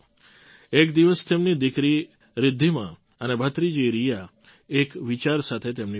એક દિવસ તેમની દીકરી રિદ્ધિમા અને ભત્રીજી રિયા એક વિચાર સાથે તેમની પાસે આવી